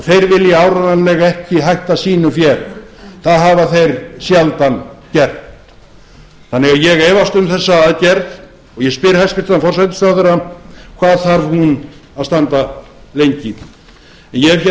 þeir vilja áreiðanlega ekki hætta sínu fé það hafa þeir sjaldan gert þannig að ég efast um þessa aðgerð og ég spyr hæstvirtur forsætisráðherra hvað þarf hún að standa lengi en ég hef hér